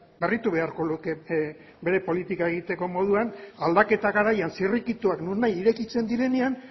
berritu beharko luke bere politika egiteko moduan aldaketa garaian zirrikituak nonahi irekitzen direnean